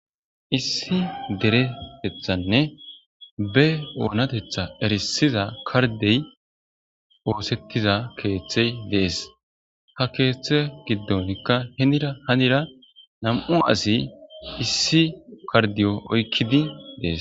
issi deretethanne be oonatetha erisiza kardey oosettiza keeththey dees ha keeththe giddonkka henira hanira nam7u asi issi kardiyo oykkidi dees